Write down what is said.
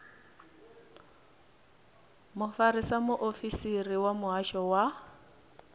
mufarisa muofisiri wa muhasho wa